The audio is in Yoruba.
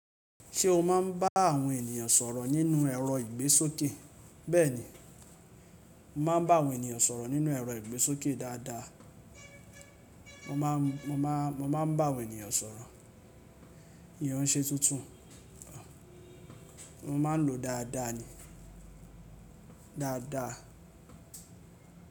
Ṣé o máa ń bá àwọn ènìyàn sọ̀rọ̀ nínú ẹ̀rọ ìgbésókè? Bẹ́ẹ̀ni, mo máa ń bá àwọn ènìyàn sọ̀rọ̀ nínú ẹ̀rọ ìgbésókè dáadáa. Mo máa ń bá àwọn ènìyàn sọ̀rọ̀. Ìyén ò nṣe tuntun, mo máa ń lò ó dáadáa ni, dáadáa.